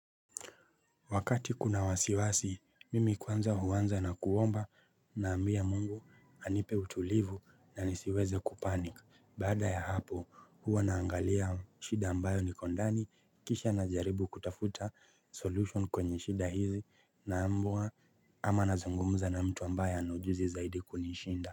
Wakati kuna wasiwasi, mimi kwanza huwanza na kuomba na ambia Mungu anipe utulivu na nisiweze kupanic. Baada ya hapo huwa naangalia shida ambayo niko ndani kisha na jaribu kutafuta solution kwenye shida hizi na ambua ama nazungumuza na mtu ambaye ana ujuzi zaidi kunishinda.